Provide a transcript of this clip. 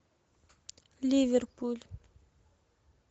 ливерпуль